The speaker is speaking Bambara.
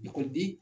Ekɔliden